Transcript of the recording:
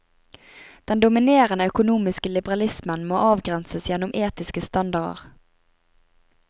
Den dominerende økonomiske liberalismen må avgrenses gjennom etiske standarder.